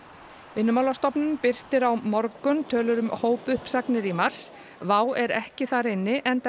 Vinnumálastofnun birtir á morgun tölur um hópuppsagnir í mars WOW er ekki þar inni enda